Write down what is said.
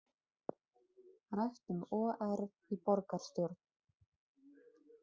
Rætt um OR í borgarstjórn